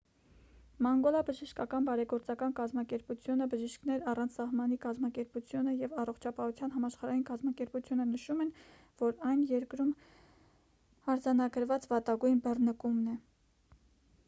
մանգոլա բժշկական բարեգործական կազմակերպությունը բժիշկներ առանց սահմանի կազմակերպությունը և առողջապահության համաշխարհային կազմակերպությունը նշում են որ այն երկրում արձանագրված վատագույն բռնկումն է